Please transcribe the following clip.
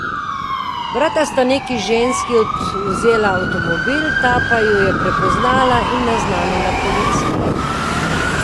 Brata sta neki ženski odvzela avtomobil, ta pa ju je prepoznala in naznanila policiji.